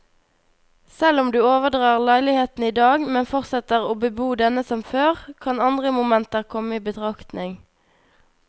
Selv om du overdrar leiligheten i dag, men fortsetter å bebo denne som før, kan andre momenter komme i betraktning.